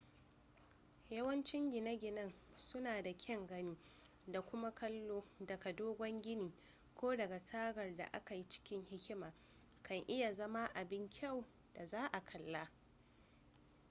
yawancin gine-ginen suna da kyan gani da kuma kallo daga dogon gini ko daga tagar da aka yi cikin hikima kan iya zama abin kyau da za a kalla